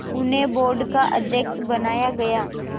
उन्हें बोर्ड का अध्यक्ष बनाया गया